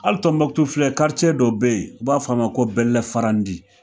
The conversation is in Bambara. Hali Tɔnbukutu filɛ dɔ bɛ yen u b'a f'a ma ko bɛlɛfarandi.